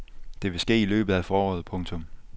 Det vil ske i løbet af foråret. punktum